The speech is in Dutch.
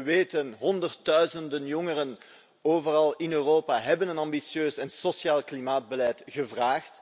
We weten honderdduizenden jongeren overal in Europa hebben een ambitieus en sociaal klimaatbeleid gevraagd